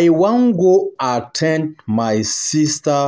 I wan go at ten d my sister